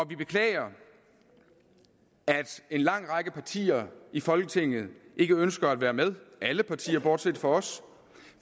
vi beklager at en lang række partier i folketinget ikke ønsker at være med alle partier bortset fra os